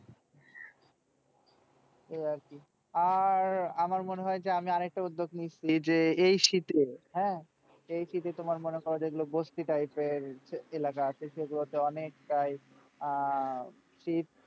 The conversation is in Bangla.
এই আর কি। আর আমার মনে হয় যে আমি আর একটা উদ্যোগ নিয়েছি যে এই শীতে হ্যাঁ এই শীতে তোমার মনে করো যেগুলো বস্তি type এর এলাকা আছে সেগুলোতে অনেকটাই আহ শীত